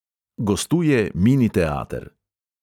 Gostuje mini teater.